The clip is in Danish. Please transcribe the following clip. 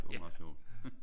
Det var meget sjovt